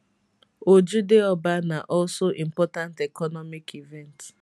ojude oba na also important economic event